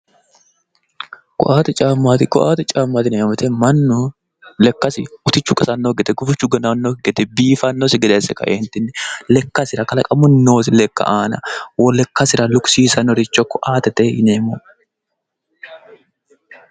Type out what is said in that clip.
koatte caammaati yinanni wote mannu lekkasira utichu qasannokki gede gufichu ganannosikki gede biifannosi gede asse kaeentinni lekkasira kalaqamunni noosi lekka aana lekkasira lukisiisirannoricho koattete yineemmo.